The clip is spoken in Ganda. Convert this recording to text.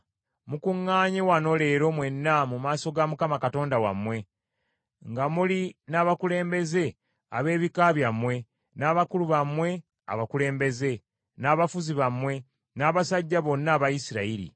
Mukuŋŋaanye wano leero mwenna mu maaso ga Mukama Katonda wammwe, nga muli n’abakulembeze b’ebika byammwe, n’abakulu bammwe abakulembeze, n’abafuzi bammwe, n’abasajja bonna aba Isirayiri,